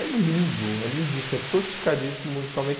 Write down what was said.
É lindo, é lindíssimo, é sofisticadíssimo musicalmente.